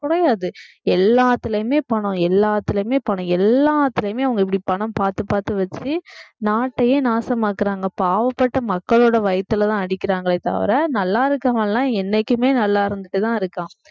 குறையாது எல்லாத்திலயுமே பணம் எல்லாத்திலயுமே பணம் எல்லாத்திலயுமே அவங்க இப்படி பணம் பாத்து பாத்து வெச்சு நாட்டையே நாசமாக்குறாங்க பாவப்பட்ட மக்களோட வயித்துலதான் அடிக்கிறாங்களே தவிர நல்லா இருக்கிறவன் எல்லாம் என்னைக்குமே நல்லா இருந்துட்டுதான் இருக்கான்